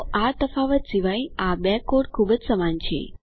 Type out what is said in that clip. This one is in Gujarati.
તો આ તફાવત સિવાય આ બે કોડ ખૂબ જ સમાન છે